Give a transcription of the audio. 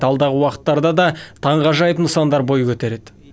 алдағы уақыттарда да таңғажайып нысандар бой көтереді